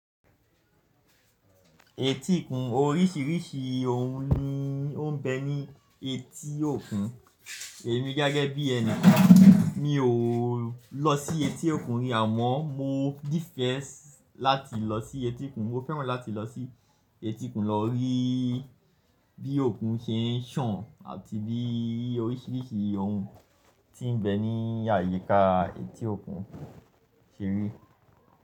Etí òkun oríṣìíríṣìí ohun ni ó ń bẹ ní etí òkun. Èmi gẹ́gẹ́ bí ẹni kan mi ò lọ sí etí òkun rí àmọ́ mo nifẹ lláti lọ sí etí òkun. Mo fẹ́ràn láti lọ sí etí òkun lọ rí bí òkun se ń ṣàn àti bí oríṣìíríṣìí ohun tí ń bẹ ní àyíká etí òkun ṣe rí.